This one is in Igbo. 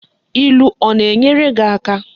Ilu o na enwere gi aka?